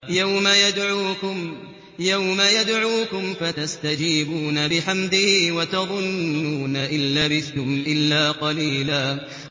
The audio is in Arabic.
يَوْمَ يَدْعُوكُمْ فَتَسْتَجِيبُونَ بِحَمْدِهِ وَتَظُنُّونَ إِن لَّبِثْتُمْ إِلَّا قَلِيلًا